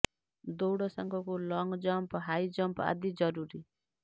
ଦୌଡ଼ ସାଙ୍ଗକୁ long jump high jump ଆଦି ଜରୁରୀ